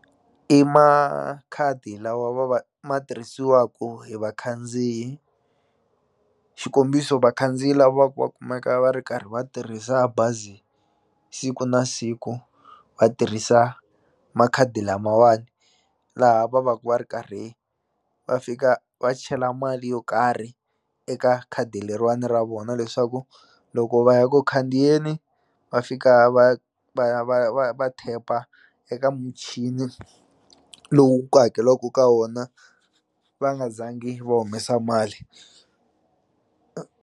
I makhadi lawa va va ma tirhisiwaku hi vakhandziyi xikombiso vakhandziyi lava ku va kumeka va ri karhi va tirhisa bazi siku na siku va tirhisa makhadi lamawani laha va va ku va ri karhi va fika va chela mali yo karhi eka khadi leriwana ra vona leswaku loko va ya ku khandziyeni va fika va va ya va ya va ya va tap-a eka muchini lowu ku hakeliwaku ka wona va nga zangi va humesa mali.